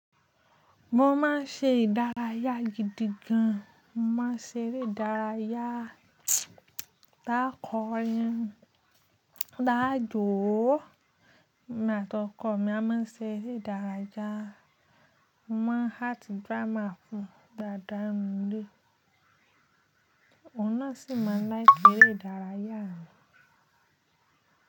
Mo ma ṣe ìdárayá gidi gan. Mo ma ṣe eré ìdárayá tá kọ́ yẹn, tá jò ó emi àtọko mi a má ṣe eré ìdárayá. Mo ma act drama fún dàadaa n nu ilè. Òun náà sì ma láìki éré ìdárayá mi.